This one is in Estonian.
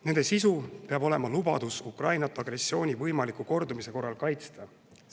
Nende sisu peab olema lubadus Ukrainat agressiooni võimaliku kordumise korral kaitsta.